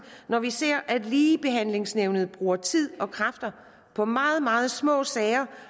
når vi ser at ligebehandlingsnævnet bruger tid og kræfter på meget meget små sager